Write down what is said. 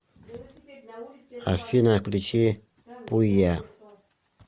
афина включи пуйя